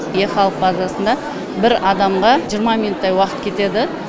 е халық базасында бір адамға жиырма минуттай уақыт кетеді